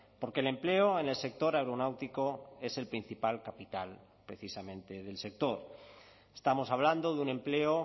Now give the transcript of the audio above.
porque el empleo en el sector aeronáutico es el principal capital precisamente del sector estamos hablando de un empleo